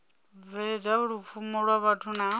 bveledza lupfumo lwa vhathu na